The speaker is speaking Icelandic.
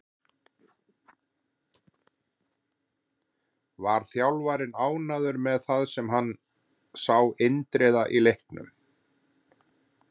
Var þjálfarinn ánægður með það sem hann sá Indriða í leiknum?